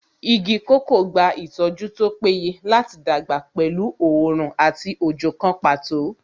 Igi kòkó gba ìtọ́jú tó péye láti dàgbà pẹ̀lú oòrùn àti òjò kan pàtó